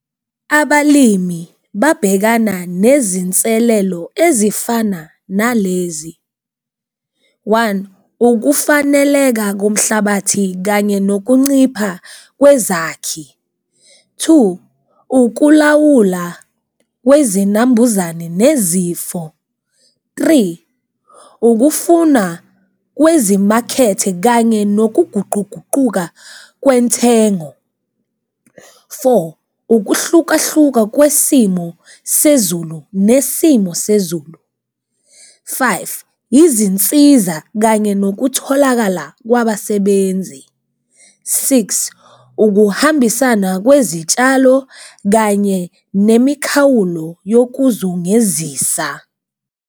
Abalimi babhekana nezinselelo ezifana nalezi, one ukufaneleka komhlabathi kanye nokuncipha kwezakhi. Two, ukulawula kwezinambuzane nezifo. Three, ukufuna kwezimakhethe kanye nokuguquguquka kwenthengo. Four, ukuhlukahluka kwesimo sezulu nesimo sezulu. Five, izinsiza kanye nokutholakala kwabasebenzi. Six, ukuhambisana kwezitshalo kanye nemikhawulo yokuzungezisa.